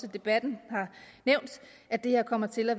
i debatten at det her kommer til at